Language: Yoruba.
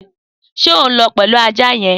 Sé o n lõ pelu àjá yen?